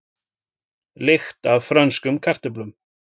Lykt af frönskum kartöflum